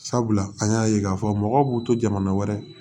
Sabula an y'a ye k'a fɔ mɔgɔw b'u to jamana wɛrɛ